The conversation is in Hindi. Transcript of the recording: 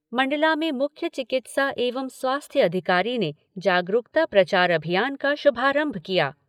मंडला में मुख्य चिकित्सा एवं स्वास्थ्य अधिकारी ने जागरूकता प्रचार अभियान का शुभारंभ किया।